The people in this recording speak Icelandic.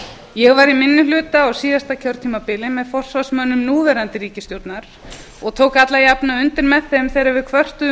ég var í minni hluta á síðasta kjörtímabili með forsvarsmönnum núverandi ríkisstjórnar og tók alla jafnan undir með þeim þegar við kvörtuðum